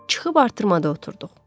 Çıxıb artırmada oturduq.